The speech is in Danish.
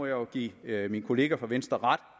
jo give min kollega fra venstre ret